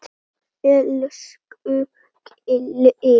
Elsku Keli.